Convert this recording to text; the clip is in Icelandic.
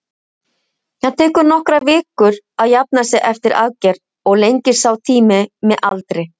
Það tekur nokkrar vikur að jafna sig eftir aðgerð og lengist sá tími með aldri.